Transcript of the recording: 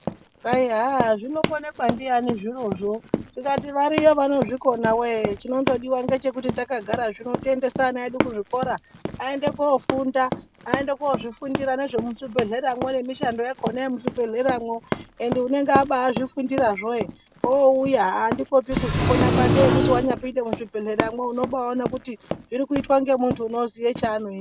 Kwai haa zvinonekwa ndiani zvirozvo, tikati variyo vanozvikona woye chinondodiwa ngechekuti takagarazvino tiendese ana edu kuzvikora aende kofunda, aende kozvifundira nezvemuzvibhedhleramwo nemishando yakhona yemuzvibhedhleramwo ende unenge abazvifundirazvo ouya andikopi kuzvikona kwake ekuti wanyapinde muzvibhehleramwo unobaone kuti zvirikuitwa ngemuntu unoziya chanoita.